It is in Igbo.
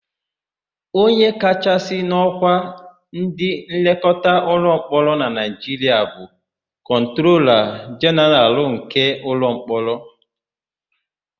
Onye kachasị n'ọ́kwá ndịnlekọta ụlọmkpọrọ na Naịjiria bụ kọntrola jenaralụ nke ụlọmkpọrọ.